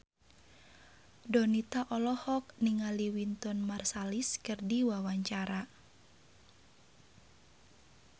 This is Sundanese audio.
Donita olohok ningali Wynton Marsalis keur diwawancara